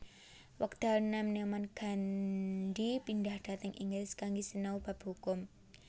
Wekdal nèm nèman Gandhi pindhah dhateng Inggris kanggé sinau bab hukum